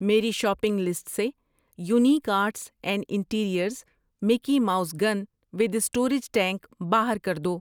میری shopping list سے unique arts and interiors Mickey Mouse gun with storage tank باہر کر دو۔